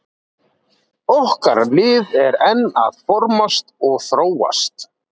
Okkar lið er enn að formast og þróast.